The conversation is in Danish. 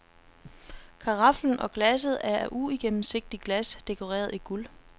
Karaflen og glasset er af uigennemsigtigt glas, dekoreret i guld.